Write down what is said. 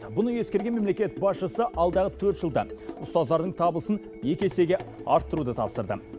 мұны ескерген мемлекет басшысы алдағы төрт жылда ұстаздардың табысын екі есеге арттыруды тапсырды